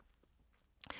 TV 2